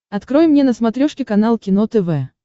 открой мне на смотрешке канал кино тв